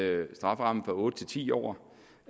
øger strafferammen fra otte til ti år